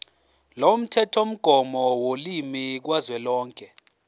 lomthethomgomo wolimi kazwelonke